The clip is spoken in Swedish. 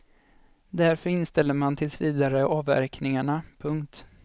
Därför inställer man tills vidare avverkningarna. punkt